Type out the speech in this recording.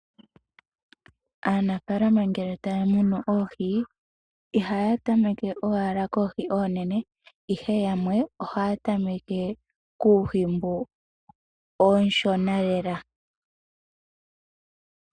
Aanafalama ngele taa munu oohi, ihaya tameke owala koohi oonene, ihe yamwe ohaya tameke kuuhi mboka uushona lela.